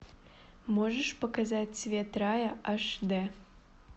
можешь показать цвет рая аш д